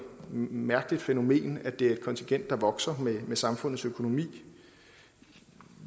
mærkeligt fænomen at det er et kontingent der vokser med samfundets økonomi